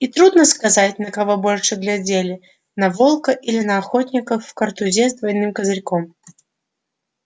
и трудно сказать на кого больше глядели на волка или на охотника в картузе с двойным козырьком